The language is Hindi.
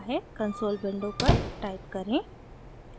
कंसोल विंडो पर टाइप करें: